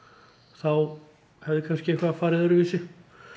þá hefði kannski eitthvað farið öðruvísi